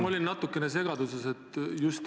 Ma olen natukene segaduses.